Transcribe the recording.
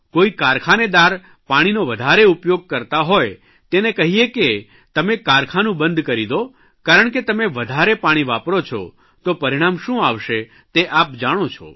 કોઇ કારખાનેદાર પાણીનો વધારે ઉપયોગ કરતા હોય તેને કહીએ કે તમે કારખાનું બંધ કરી દો કારણ કે તમે વધારે પાણી વાપરો છો તો પરિણામ શું આવસે તે આપ જાણો છો